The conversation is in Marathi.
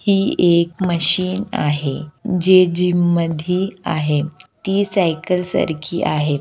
ही एक मशीन आहे जे जीम मधी आहे ती साइकिल सा रखी आहे.